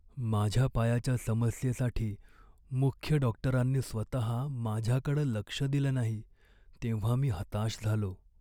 माझ्या पायाच्या समस्येसाठी मुख्य डॉक्टरांनी स्वतः माझ्याकडं लक्ष दिलं नाही तेव्हा मी हताश झालो.